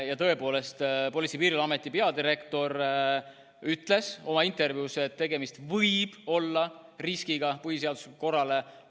Ja tõepoolest, Politsei- ja Piirivalveameti peadirektor ütles oma intervjuus, et tegemist võib olla riskiga põhiseaduslikule korrale.